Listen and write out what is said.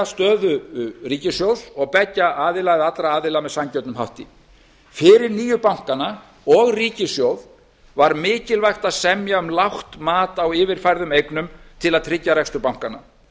stöðu ríkissjóðs og beggja aðila eða allra aðila með sanngjörnum hætti fyrir nýju bankana og ríkissjóð var mikilvægt að semja um lágt mat á yfirfærðum eignum til að tryggja rekstur bankanna